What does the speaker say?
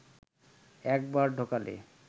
একবার ঢোকালে